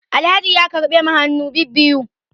Alhaji ya karbe mu hannu bibiyu